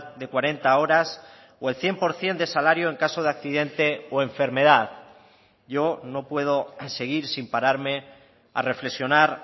de cuarenta horas o el cien por ciento de salario en caso de accidente o enfermedad yo no puedo seguir sin pararme a reflexionar